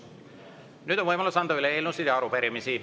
Nüüd on võimalus anda üle eelnõusid ja arupärimisi.